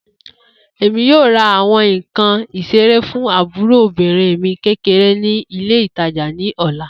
Emi yoo ra awọn nkan isere fun aburo obirin mi kekere ni ile itaja ni ọla.